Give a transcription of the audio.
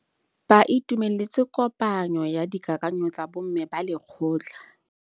Ba itumeletse kôpanyo ya dikakanyô tsa bo mme ba lekgotla.